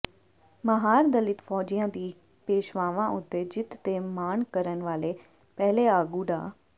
ਮਾਹਾਰ ਦਲਿਤ ਫ਼ੌਜੀਆਂ ਦੀ ਪੇਸ਼ਵਾਵਾਂ ਉਤੇ ਜਿੱਤ ਤੇ ਮਾਣ ਕਰਨ ਵਾਲੇ ਪਹਿਲੇ ਆਗੂ ਡਾ